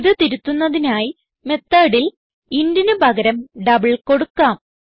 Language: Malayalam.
ഇത് തിരുത്തുന്നതിനായി methodൽ intന് പകരം ഡബിൾ കൊടുക്കാം